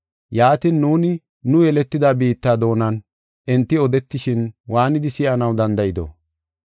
Yaatin, nuuni, nu yeletida biitta doonan enti odetishin waanidi si7anaw danda7ido?